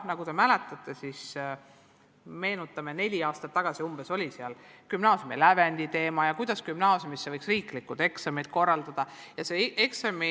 Nagu te mäletate, siis umbes neli aastat tagasi oli jutuks gümnaasiumi lävendi teema ja see, kuidas gümnaasiumisse astumiseks võiks korraldada riiklikud eksamid.